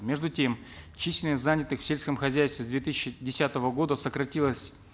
между тем численность занятых в сельском хозяйстве с две тысячи десятого года сократилась